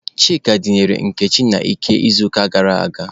Chika dinara Nkechi n'ike n'izuụka gara aga.